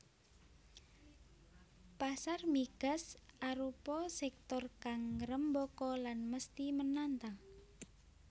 Pasar migas arupa sektor kang ngrembaka lan mesti menantang